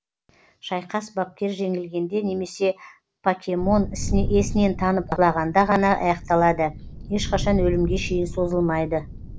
шайқас бапкер жеңілгенде немесе покемон есінен танып құлағанда ғана аяқталады ешқашан өлімге шейін созылмайды